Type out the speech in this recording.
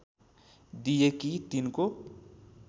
दिए कि तिनको